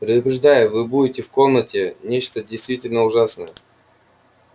предупреждаю вы будете в комнате нечто действительно ужасное